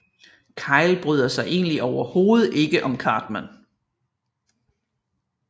Kyle bryder sig egentlig overhovedet ikke om Cartman